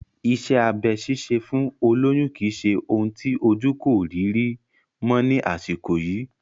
Iṣẹ́ abẹ ṣíṣe fún olóyún kì í ṣe ohun tí ojú kò rí rí mọ́ ni àsìkò yìí